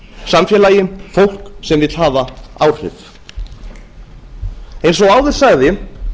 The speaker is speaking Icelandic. samfélagi fólk sem vill hafa áhrif eins og áður sagði